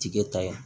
Tigɛ ta ye